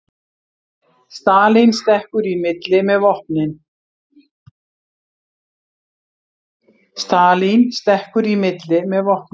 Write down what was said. Stalín stekkur í milli með vopnin